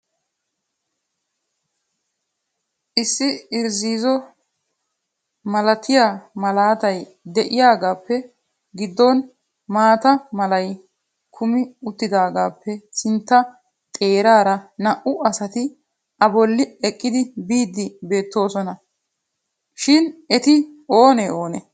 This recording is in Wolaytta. issi irziizo malatiyaa malaatay de'iyaagappe giddon maata malay kummi uttidaagappe sintta xeeraara naa''u asati a bolli eqqidi bidi beettoosona. shin eti oonee oonee?